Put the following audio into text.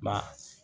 Ma